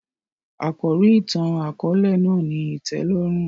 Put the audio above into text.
Àkòrí ìtàn-àkóòlè náà ni ìtẹ́lórùn